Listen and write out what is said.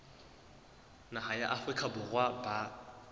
naha ya afrika borwa ba